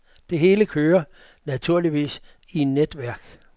Det hele kører, naturligvis, i netværk.